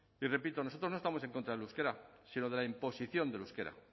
y repito nosotros no estamos en contra del euskera sino de la imposición del euskera